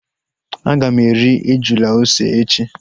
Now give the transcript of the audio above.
Aga m eri ejula ose echi